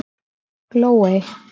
Glóey